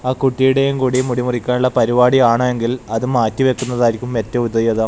ആ കുട്ടിയുടെയും കൂടി മുടി മുറിക്കാനുള്ള പരിപാടി ആണ് എങ്കിൽ അത് മാറ്റിവയ്ക്കുന്നതായിരിക്കും ഏറ്റവും ഉദയത.